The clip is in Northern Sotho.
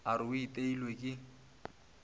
a re o iteilwe ke